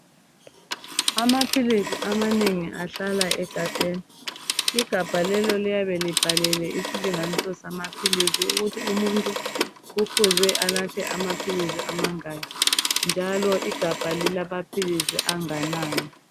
Amaphilisi amanengi ahlala egabheni. Igabha lelo liyabe libhalelwe isilinganiso samaphilisi ukuthi umuntu kufuze anathe amaphilisi amangaki njalo igabha lilamaphilisi anganani.